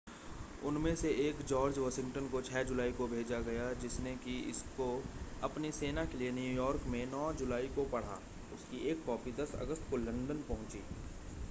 उनमें से एक जॉर्ज वाशिंगटन को 6 जुलाई को भेजा गया जिसने कि इसको अपनी सेना के लिए न्यूयॉर्क में 9 जुलाई को पढ़ा उसकी एक कॉपी 10 अगस्त को लंदन पहुंची